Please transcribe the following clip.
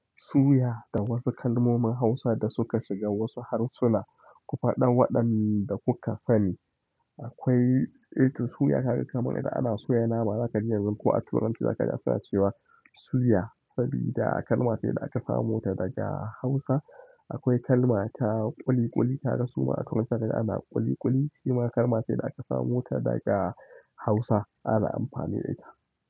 Suya da wasu kalmomin Hausa da suka shiga wasu harsuna, ku faɗa waɗanda kuka sani. Akwai eh to suya kaga kamar idan ana soya nama zakaji yanzu koh a Turanci zakaji suna cewa suya, sabida kalma ce da aka samota daga hausa. Akwai kalma ta ƙuliƙuli, ka ga su ma a Turanci da ana ƙuliƙuli shi ma kalma ce da aka samo ta daga Hausa ana amfani da ita.